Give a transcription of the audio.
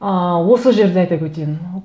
ыыы осы жерді айтып өтейін